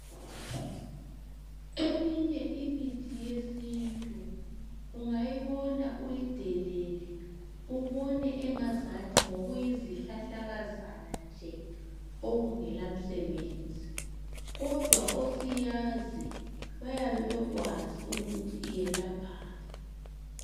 Eminye imithi yesintu ungayibona uyidelelle ubone angazathiokuyizihlahlakazana nje okungela msebenzi kodwa osiyazi bayabe bekwazi ukuthi iyelaphani.